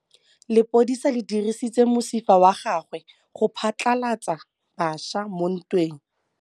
Lepodisa le dirisitse mosifa wa gagwe go phatlalatsa batšha mo ntweng.